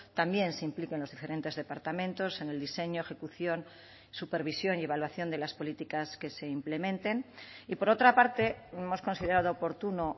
también se impliquen los diferentes departamentos en el diseño ejecución supervisión y evaluación de las políticas que se implementen y por otra parte hemos considerado oportuno